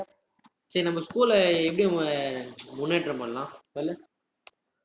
சேரி நம்ம school அ எப்படி முன்னேற்றம் பண்ணலாம் சொல்லு